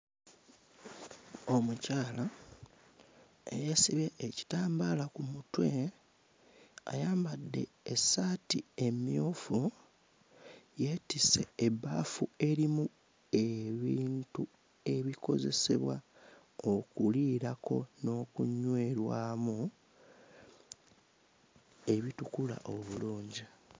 Omukyala eyeesibye ekitambaala ku mutwe ayambadde essaati emmyufu, yeetisse ebbaafu erimu ebintu ebikozesebwa okuliirako n'okunywerwamu ebitukula obulungi.